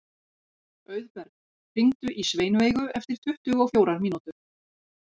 Auðberg, hringdu í Sveinveigu eftir tuttugu og fjórar mínútur.